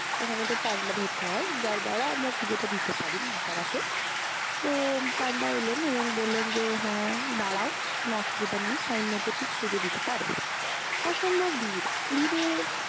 ওখানে তো পান্ডা ধরতে হয়, যার দ্বারা আমরা পূজাটা দিতে পারি মা তারাকে। তো পান্ডা এলেন এবং বললেন যে, হ্যাঁ দাঁড়াও কোনো অসুবিধা নেই time মতো ঠিক পূজো দিতে পারবে। অসম্ভব ভিড়, ভিড়ে